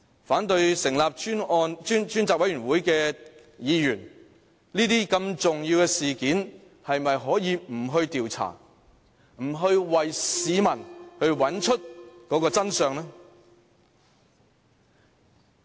反對成立專責委員會的議員，面對這宗如此重要的事件，是否可以不去調查，不去為市民找出真相？